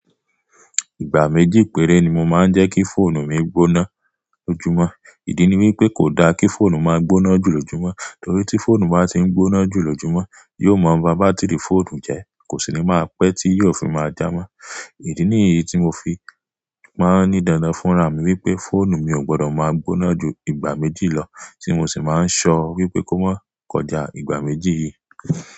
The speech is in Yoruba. Ìgbà méjì péré ni mo máa ń jẹ́ kí fóònù mi gbóná lójúmọ́. Ìdí ni wípé kò da kí fóònù máa gbóná jù lójúmọ́, torí tí fóònù bá ti ń gbóná jù lójúmọ́, yóò máa ba bátìrì fóònù jẹ, kò sì ní máa pẹ́ tí yóò fi máa já mo. Ìdí nìyí tí mo fi máa ń ni dandan fúnra mi wípé fóònù mi ò gbọdọ̀ máa gbóná ju ìgbà méjì lọ, tí mo sì máa ń ṣọ wípé kó máa kọjá ìgbà méjì yìí.